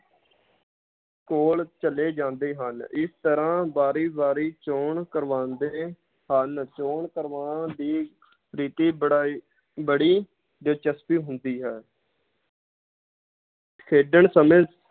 ਕੋਲ ਚਲੇ ਜਾਂਦੇ ਹਨ ਇਸ ਤਰਾਂ ਵਾਰੀ ਵਾਰੀ ਚੌਣ ਕਰਵਾਂਦੇ ਹਨ ਚੌਣ ਕਰਵਾਣ ਦੀ ਰੀਤੀ ਬੜਾ ਹੀ, ਬੜੀ ਦਿਲਚਸਪ ਹੁੰਦੀ ਹੈ ਖੇਡਣ ਸਮੇਂ